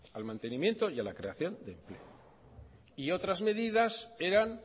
al mantenimiento y a la creación de empleo y otras medidas eran